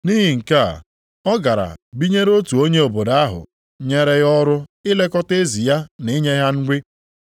Nʼihi nke a, ọ gara binyere otu onye obodo ahụ nyere ya ọrụ ilekọta ezi ya na inye ha nri.